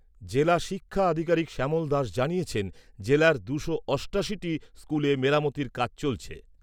জেলা শিক্ষা আধিকারিক শ্যামল দাস জানিয়েছেন, জেলার দুশো অষ্টাশি টি স্কুলে মেরামতির কাজ চলছে।